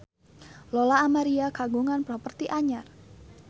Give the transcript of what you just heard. Lola Amaria kagungan properti anyar